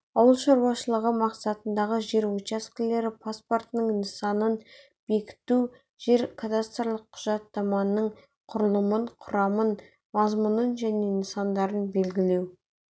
ауыл шаруашылығы мақсатындағы жер учаскелері паспортының нысанын бекіту жер-кадастрлық құжаттаманың құрылымын құрамын мазмұнын және нысандарын белгілеу